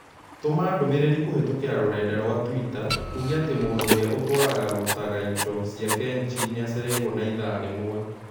Tũma ndũmĩrĩri kũhĩtũkĩra rũrenda rũa tũita uuge atĩ mũndũ ũrĩa ũtũaragarutaga indo cia kenchi nĩ acerĩirũo na ithaa rĩmwe